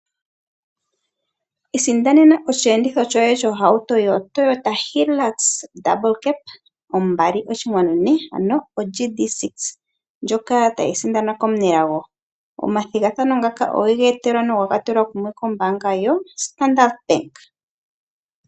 Isindanena osheenditho shoye shohauto yoToyota Hilux yiikoto iyali, ombali oshinkwanu ne, ano oGD6 ndjoka tayi sindanwa komunelago. Omathigathano ngaka owega etelwa na oga tulwa kumwe kombaanga yoStandard.